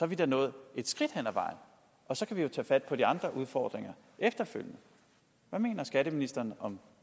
vi da nået et skridt ad vejen og så kan vi jo tage fat på de andre udfordringer efterfølgende hvad mener skatteministeren om